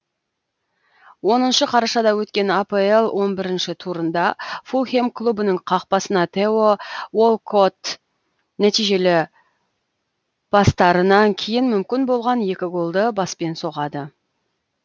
оныншы қарашада өткен апл он бірінші турында фулхем клубының қақпасына тео уолкотт нәтижелі пастарынан кейін мүмкін болған екі голды баспен соғады